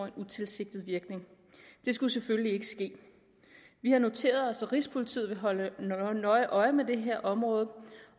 en utilsigtet virkning det skulle selvfølgelig ikke ske vi har noteret os at rigspolitiet vil holde nøje øje med det her område